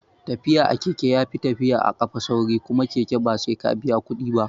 Tafiya a keke yafi tafiya a kafa sauri kuma keke ba sai ka biya kuɗi ba